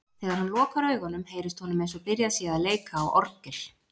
Þegar hann lokar augunum, heyrist honum eins og byrjað sé að leika á orgel.